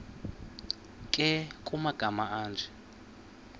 nkr kumagama anje